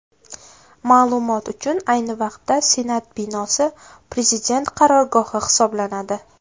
Ma’lumot uchun, ayni vaqtda Senat binosi Prezident qarorgohi hisoblanadi.